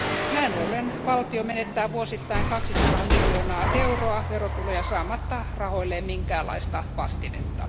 Näin ollen valtio menettää vuosittain 200 miljoonaa euroa verotuloja saamatta rahoilleen minkäänlaista vastinetta.